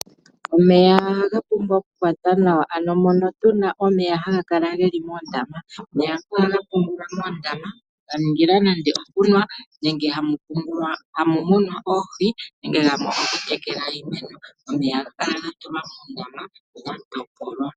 Omeya ohaga pumbwa okukwatwa nawa, ano mono tu na omeya haga kala ge li moondama. Omeya ngaka ohaga pungulwa moondama, ga ningila nande okunwa nenge hamu munwa oohi, nenge gamwe ogokutekela iimeno. Omeya ohaga kala moondama ga topolwa.